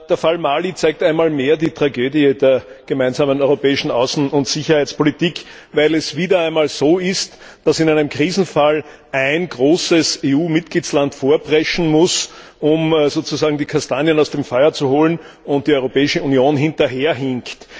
Der Fall Mali zeigt einmal mehr die Tragödie der gemeinsamen europäischen Außen und Sicherheitspolitik, weil es wieder einmal so ist, dass in einem Krisenfall ein großer EU Mitgliedstaat vorpreschen muss, um sozusagen die Kastanien aus dem Feuer zu holen, und die Europäische Union hinterherhinkt.